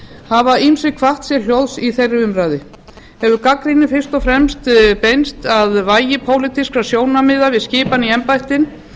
hafa ýmsir kvatt sér hljóðs í þeirri umræðu hefur gagnrýnin fyrst og fremst beinst að vægi pólitískra sjónarmiða við skipan í embættin